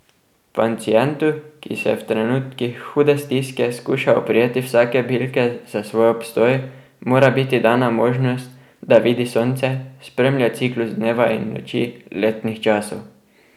Pacientu, ki se v trenutkih hude stiske skuša oprijeti vsake bilke za svoj obstoj, mora biti dana možnost, da vidi sonce, spremlja ciklus dneva in noči, letnih časov ...